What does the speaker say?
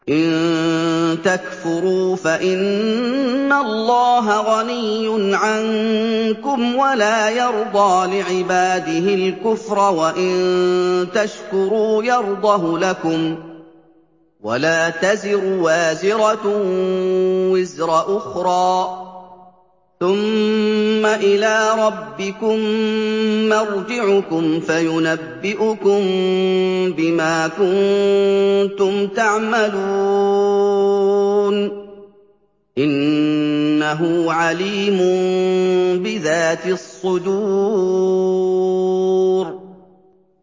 إِن تَكْفُرُوا فَإِنَّ اللَّهَ غَنِيٌّ عَنكُمْ ۖ وَلَا يَرْضَىٰ لِعِبَادِهِ الْكُفْرَ ۖ وَإِن تَشْكُرُوا يَرْضَهُ لَكُمْ ۗ وَلَا تَزِرُ وَازِرَةٌ وِزْرَ أُخْرَىٰ ۗ ثُمَّ إِلَىٰ رَبِّكُم مَّرْجِعُكُمْ فَيُنَبِّئُكُم بِمَا كُنتُمْ تَعْمَلُونَ ۚ إِنَّهُ عَلِيمٌ بِذَاتِ الصُّدُورِ